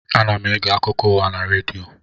Ana m ege akụkọ ụwa na redio